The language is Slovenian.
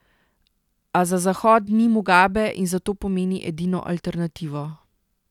A za Zahod ni Mugabe in zato pomeni edino alternativo.